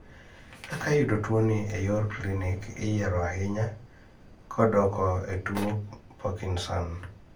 kaka iyudo tuo ni e yor klinic iyiero ahinya kodoko e tuo parkinson